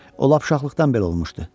O lap uşaqlıqdan belə olmuşdu.